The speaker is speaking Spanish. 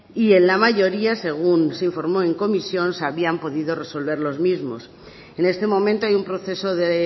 y en la mayoría según se informó en comisión se habían podido resolver los mismos en este momento hay un proceso de